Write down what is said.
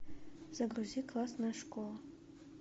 загрузи классная школа